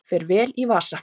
Fer vel í vasa